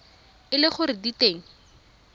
e le gore di teng